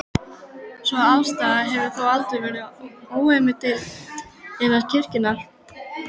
Sú afstaða hefur þó aldrei verið óumdeild innan kirkjunnar.